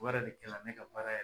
O yɛrɛ de kɛra ne ka baara yɛr